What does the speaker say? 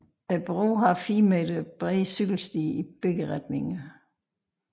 Broen har 4 meter bredde cykelstier i begge retninger